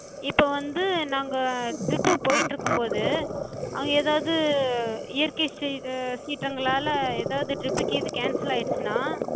இப்ப வந்து நாங்க trip போயிட்டுருக்கும்போது அங்க ஏதாவது இயற்கை சீற்றங்களால ஏதாது trip கீது cancel ஆகிடுச்சுனா, எங்களுக்கு வந்து amount டு நாங்க